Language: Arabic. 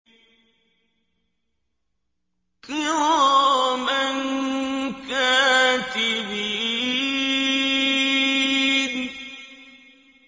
كِرَامًا كَاتِبِينَ